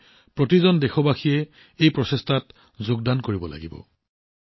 গতিকে প্ৰতিজন দেশবাসীয়ে এই প্ৰচেষ্টাত যোগদান কৰিব লাগিব